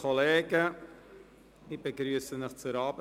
Ich begrüsse Sie zu dieser Abendsitzung.